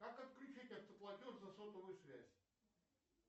как отключить автоплатеж за сотовую связь